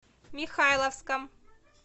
михайловском